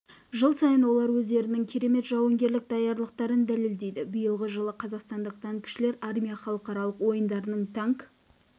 жыл сайын олар өздерінің керемет жауынгерлік даярлықтарын дәлелдейді биылғы жылы қазақстандық танкішілер армия халықаралық ойындарының танк